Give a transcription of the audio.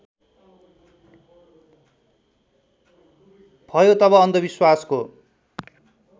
भयो तब अन्धविश्वासको